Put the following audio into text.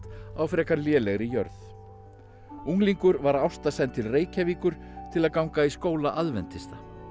á frekar lélegri jörð unglingur var Ásta send til Reykjavíkur til að ganga í skóla aðventista